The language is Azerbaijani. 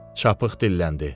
Çapıq dilləndi.